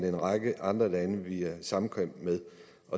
en række andre lande vi har samkvem med